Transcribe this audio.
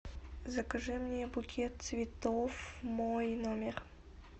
закажи мне букет цветов в мой номер